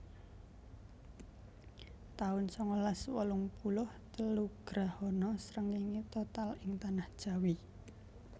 taun sangalas wolung puluh telu Grahana srengéngé total ing Tanah Jawi